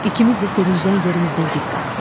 İkimiz də sevincdən yerimizdən dik qalxdıq.